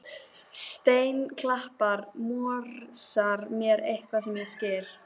Steinklappan morsar mér eitthvað sem ég skil